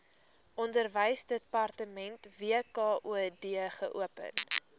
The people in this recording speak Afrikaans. onderwysdepartement wkod geopen